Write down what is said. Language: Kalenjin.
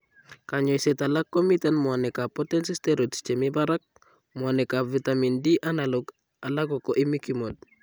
Kanyoiseet alak komiten muanik ab potency steroids chemii barak, mwanik ab vitamin D analog alako imiquimod